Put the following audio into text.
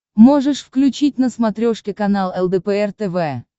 можешь включить на смотрешке канал лдпр тв